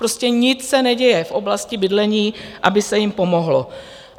Prostě nic se neděje v oblasti bydlení, aby se jim pomohlo.